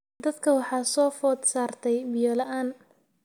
Dadka waxaa soo food saartay biyo la'aan.